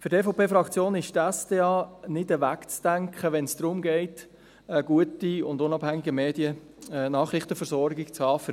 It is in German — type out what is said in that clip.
Für die EVPFraktion ist die SDA nicht wegzudenken, wenn es darum geht, für unseren Kanton Bern eine gute und unabhängige Nachrichtenversorgung zu haben.